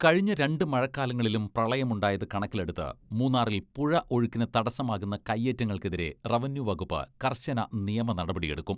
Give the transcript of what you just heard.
കഴിഞ്ഞ രണ്ട് മഴക്കാലങ്ങളിലും പ്രളയമുണ്ടായത് കണക്കിലെടുത്ത് മൂന്നാറിൽ പുഴ ഒഴുക്കിന് തടസ്സമാകുന്ന കയേറ്റങ്ങൾക്കെതിരെ റവന്യൂവകുപ്പ് കർശന നിയമ നടപടിയെടുക്കും.